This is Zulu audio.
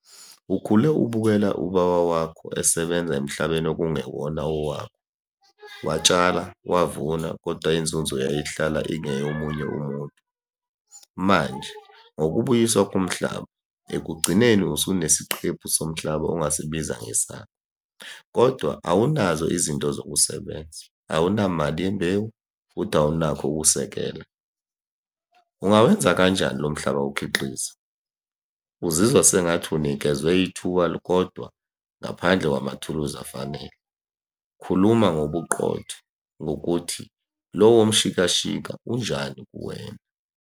Ukhule ubukela ubaba wakho esebenza emhlabeni okungewona, owakhe, watshala, wavuna, koda inzunzo yayihlala ingeyomunye umuntu. Manje ngokubuyiswa komhlaba, ekugcineni usunesiqephu somhlaba ongasibiza ngesakho, kodwa awunazo izinto zokusebenza, awunamali yembewu, futhi awunakho ukusekela. Ungawenza kanjani lo mhlaba ukhiqize? Uzizwa sengathi unikezwe ithuba kodwa ngaphandle kwamathuluzi afanele. Khuluma ngobuqotho ngokuthi lowo mshikashika unjani kuwena.